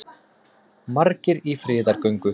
Margir í friðargöngu